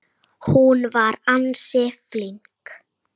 Hún var ansi flink.